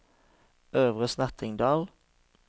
Øvre Snertingdal